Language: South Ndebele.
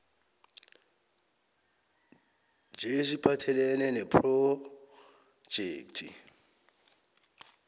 njll esiphathelene nephrojekhthi